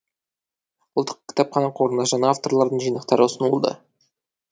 ұлттық кітапхана қорына жаңа авторлардың жинақтары ұсынылды